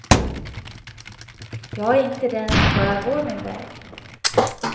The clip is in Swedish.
Jag är inte den som bara går min väg.